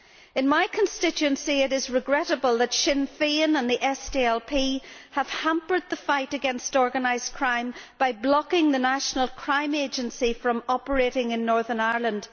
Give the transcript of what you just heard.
In my constituency, it is regrettable that Sinn Féin and the SDLP have hampered the fight against organised crime by blocking the national crime agency from operating in Northern Ireland.